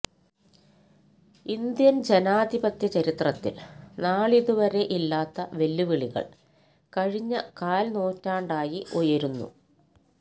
Indian ജനാധിപത്യ ചരിത്രത്തിൽ നാളിതുവരെ ഇല്ലാത്ത വെല്ലുവിളികൾ കഴിഞ്ഞ കാൽ നൂറ്റാണ്ടായി ഉയരുന്നു